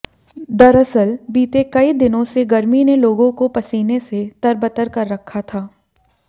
दरअसल बीते कई दिनों से गर्मी ने लोगों को पसीने से तरबतर कर रखा था